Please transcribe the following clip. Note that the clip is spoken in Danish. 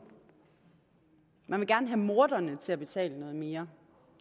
man vil gerne have morderne til at betale noget mere